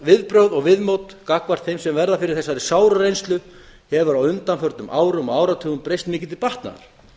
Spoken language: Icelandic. viðbrögð og viðmót gagnvart þeim sem verða fyrir þessari sáru reynslu hefur á undanförnum árum og áratugum breyst mikið til batnaðar